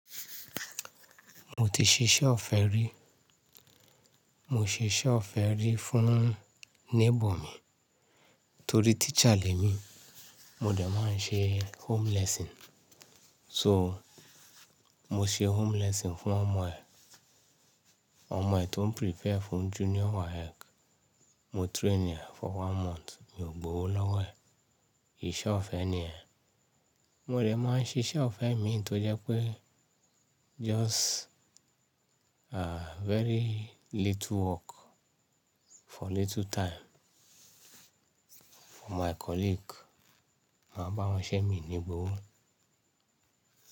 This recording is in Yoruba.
Mo ti ṣe iṣẹ́ ọ̀fẹ́ rí. Mo ṣe iṣẹ́ ọ̀fẹ́ rí fún neighbour mi torí teacher lè mi. Mo dẹ̀ máa ń ṣe home lesson. So mo ṣe home lesson fún ọmọ ẹ̀. Ọmọ ẹ̀ tó ń prepare fún junior WAEC. Mo train ẹ fun one month, mi ò gbowo lọ́wọ́ ẹ̀. Ìṣẹ́ ọ̀fẹ́ ni yen. Mo dẹ̀ máa ń ṣiṣẹ́ ọ̀fẹ́ mi tó jẹ́ pé just, ah, very little work for little time. For my colleague, máa bá wọn ṣẹ́ mi ní gbowó.